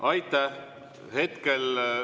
Aitäh!